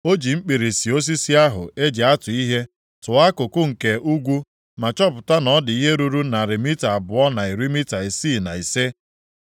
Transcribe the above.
O ji mkpirisi osisi ahụ e ji atụ ihe tụọ akụkụ nke ugwu ma chọpụta na ọ dị ihe ruru narị mita abụọ na iri mita isii na ise.